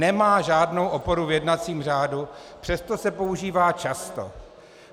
Nemá žádnou oporu v jednacím řádu, přesto se používá často.